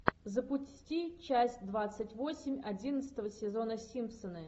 запусти часть двадцать восемь одиннадцатого сезона симпсоны